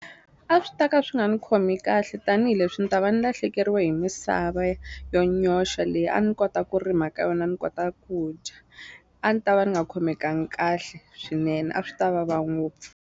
A swi ta ka swi nga ni khomi kahle tanihileswi ni ta va ni lahlekeriwe hi misava yo nyoxa leyi a ni kota ku rima ka yona ni kota ku dya a ni ta va ni nga khomekangi kahle swinene a swi ta vava ngopfu.